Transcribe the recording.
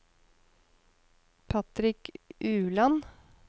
Patrick Ueland